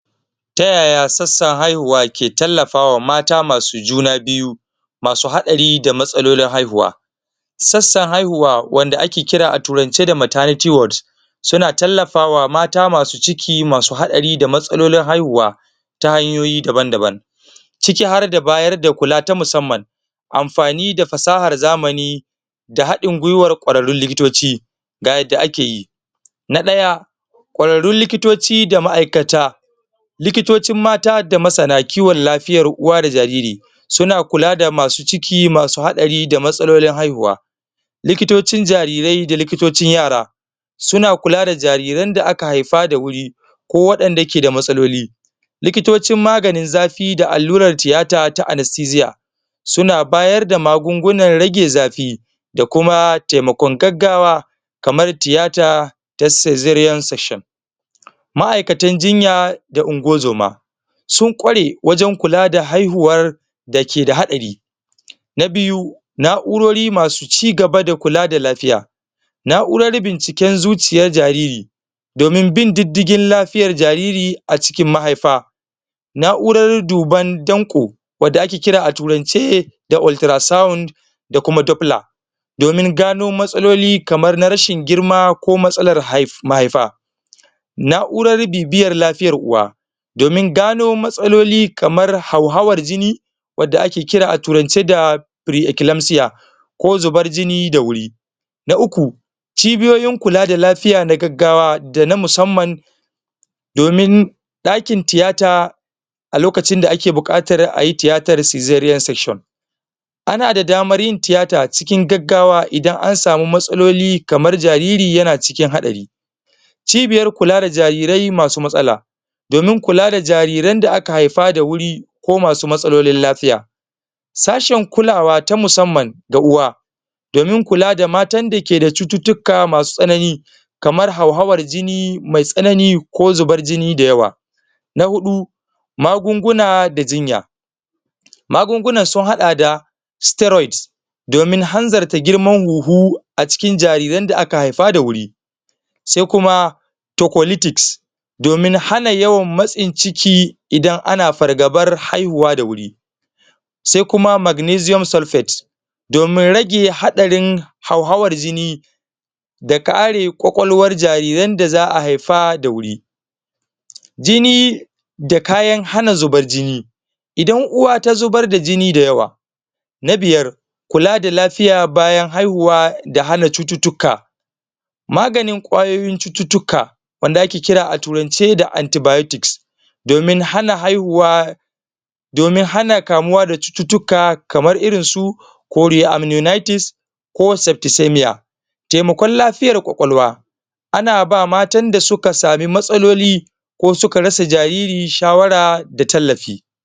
ta yaya sassan haiwuwa ke tallafawa mata masu juna biyu masu hatsari da matsalolin haiwuwa sassahan haihuwa wanda ake kira a turance da maternity word suna tallafawa mata masu ciki masu hatsari da matsalolin haihuwa ta hanyoyi daban daban cikin harda bayar da kula ta musamman amfani da fasahar zamani da haɗin gwiwar kwararrun likitoci ga yadda ake na ɗaya kwararrun likitoci da ma'aikata likitocin mata da masana kiwan lafiyan uwa da jariri suna kula da masu ciki masu hatsari da matsalolin haihuwa likitocin jarirai da likitocin yara suna kula da jariran da aka haifa da wuri ko wa 'yanda yake da matsaloli likitocin maganin zafi da allurar theatre na anesthesia suna bayar da magungunan zage zafi da kuma taimakon gaggawa kamar theatre ma'aikatan jinya da ungojo ma sun kware wajen kula da haihuwar dake da hatsari na biyu na'urori masu cigaba da kula da lafiya na'urar binciken zuciyar jariri domin bin diddigin lafiyar jariri a cikin mahaifa na'urar duban tanko wadda ake kira a turance da ultrasound da kuma toplar domin gano matsaloli kamar narashin girma ko matsalar mahaifa na'urar bibiyan lafiyar uwa domin gano matsaloli kamar hawhawar jini wadda ake kira a turance da pre-iclamsia ko zubar jini da wuri na uku cibiyoyin kula da lafiya na gaggawa da na musamman domin ɗakin theatre a lokacin da ake bukatar ayi theatre sizerial section ana da damar yin theatre cikin gaggawa idan an samu matsaloli kamar jariri yana cikin hatsari cibiyar kula da jarirai masu matsala domin kula da jariran da aka haifa da wuri ko masu matsalolin lafiya sashin kula ta musamman ga uwa domin kula da matan dake da cuttuka masu tsanani kamar hawhawan jini mai tsanani ko zubar jini mai yawa na huɗu magunguna da jinya magungunan sun haɗa da steroid domin hanzar ta girman hunhu a cikin jariran da aka haifa da wuri sai kuma tocolitics domin hana yawan matsinciki idan ana fargaban haihuwa da wuri saiku magnesium sulphate domin rage haɗarin hawhawar jini da kare kwakwalwar jariran da za'a haifa da wuri jini da kayan hana zubar jini idan uwa ta zubar da jini da yawa na biiyar kula da lafiya bayan haihuwa da hana cuttuuka maganin kwayoyin cuttutuka wanda ake kira a turance da anti-biotics domin hana haihuwa domin hana kamuwa da cuttutuka kamar irin su koreamnonitis ko sebtisemia taimakon lafiyar kwakwalwa ana ba matan da suka sami matsaloli ko suka rasa jariri shawara da tallafi